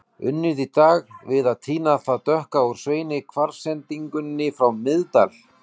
Unnið í dag við að tína það dökka úr seinni kvars-sendingunni frá Miðdal.